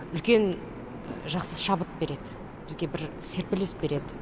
үлкен жақсы шабыт береді бізге бір серпіліс береді